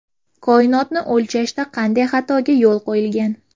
Koinotni o‘lchashda qanday xatoga yo‘l qo‘yilgan?